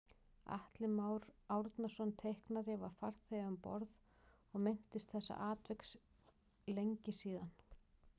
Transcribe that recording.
Atli Már Árnason teiknari var farþegi um borð og minntist þessa atviks lengi síðan